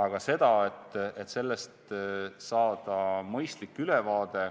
Aga see, et sellest saada mõistlik ülevaade,